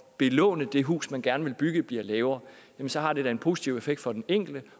belåne det hus man gerne vil bygge bliver lavere så har det da en positiv effekt for den enkelte